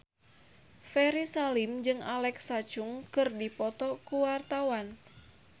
Ferry Salim jeung Alexa Chung keur dipoto ku wartawan